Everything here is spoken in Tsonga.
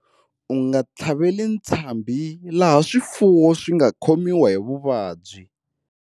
U nga tlhaveli ntshambhi laha swifuwo swi nga khomiwa hi vuvabyi.